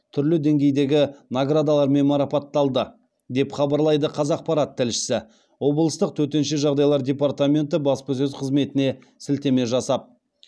түрлі деңгейдегі наградалармен марапатталды деп хабарлайды қазақпарат тілшісі облыстық төтенше жағдайлар департаменті баспасөз қызметіне сілтеме жасап